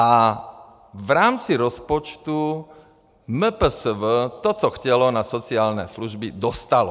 A v rámci rozpočtu MPSV to, co chtělo na sociální služby, dostalo.